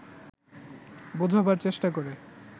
বোঝাবার চেষ্টা করে